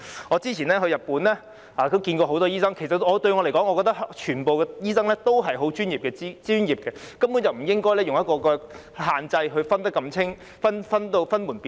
我先前到日本時也見過很多醫生，對我來說，全部醫生均十分專業，根本不應設定限制，把他們區分得如此清楚或分門別類。